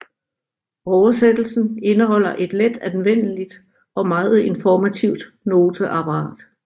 Oversættelsen indeholder et let anvendeligt og meget informativt noteapparat